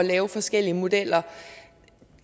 lave forskellige modeller